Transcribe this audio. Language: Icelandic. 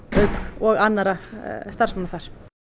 og annarra starfsmanna þar